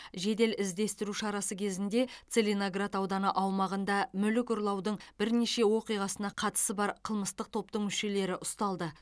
жедел іздестіру шарасы кезінде целиноград ауданы аумағында мүлік ұрлаудың бірнеше оқиғасына қатысы бар қылмыстық топтың мүшелері ұсталды